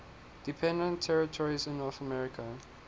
dependent territories in north america